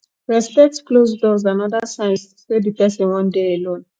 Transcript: respect closed doors and oda signs sey di person wan dey alone